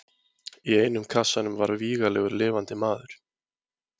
Í einum kassanum var vígalegur lifandi maður.